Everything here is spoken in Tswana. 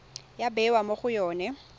ya bewa mo go yone